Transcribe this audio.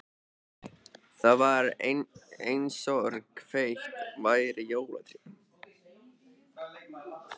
Það var einsog kveikt væri á jólatré.